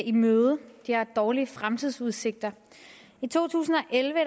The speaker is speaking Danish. i møde de har dårlige fremtidsudsigter i to tusind og elleve